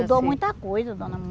Mudou muita coisa, dona.